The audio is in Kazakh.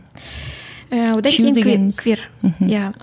ііі одан кейін квир мхм иә